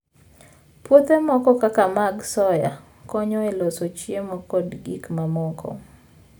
Puothe moko kaka mag soya, konyo e loso chiemo kod gik mamoko.